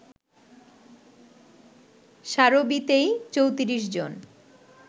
সারোবিতেই ৩৪ জন